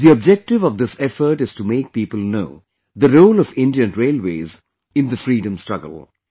The objective of this effort is to make people know the role of Indian Railways in the freedom struggle